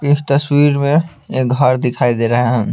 इस तस्वीर में एक घर दिखाई दे रहे है।